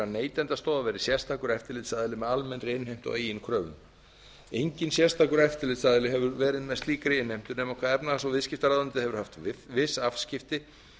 verði sérstakur eftirlitsaðili með almennri innheimtu á eigin kröfum enginn sérstakur eftirlitsaðili hefur verið með slíkri innheimtu nema hvað efnahags og viðskiptaráðuneytið hefur haft viss afskipti